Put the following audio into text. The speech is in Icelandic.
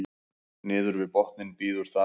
niður við botninn bíður þar